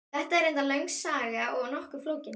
Þetta er reyndar löng saga og nokkuð flókin.